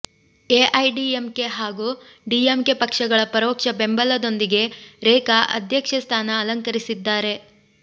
AIADMK ಹಾಗೂ DMK ಪಕ್ಷಗಳ ಪರೋಕ್ಷ ಬೆಂಬಲದೊಂದಿಗೆ ರೇಖಾ ಅಧ್ಯಕ್ಷೆ ಸ್ಥಾನ ಅಲಂಕರಿಸಿದ್ದಾರೆ